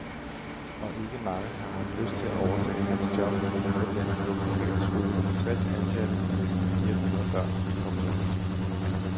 Og ikke mange har haft lyst til at overtage hans job på den ellers velfungerende skole med tres ansatte og næsten fire hundrede børn. punktum